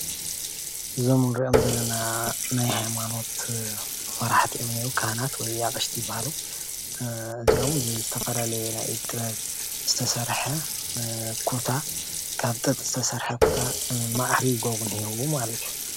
እዞም ንሪኦም ዘለና ናይ ሃይማኖት መራሕቲ ካህናት ወይ ኣቅሽቲ ይበሃሉ ። እዚኦም ዝተፈላለዩ ብናይ ጥበብ ዝተሰረሐ ኩታ ካብ ጡጥ ዝተሰረሐ ኩታ ማዕሪጎም እንሀው ማለት እዩ።